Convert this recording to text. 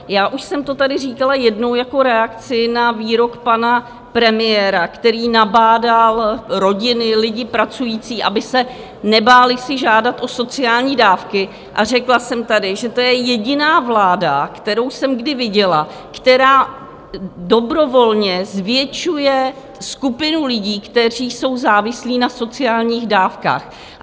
Já už jsem to tady říkala jednou jako reakci na výrok pana premiéra, který nabádal rodiny, lidi pracující, aby se nebáli si žádat o sociální dávky, a řekla jsem tady, že to je jediná vláda, kterou jsem kdy viděla, která dobrovolně zvětšuje skupinu lidí, kteří jsou závislí na sociálních dávkách.